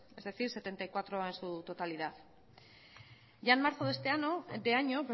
es decir setenta y cuatro trabajadores en su totalidad ya en marzo de este año